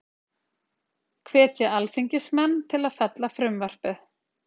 Hvetja alþingismenn til að fella frumvarpið